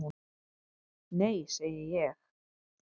"""Nei, segi ég."""